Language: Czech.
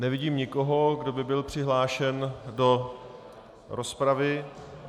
Nevidím nikoho, kdo by byl přihlášen do rozpravy.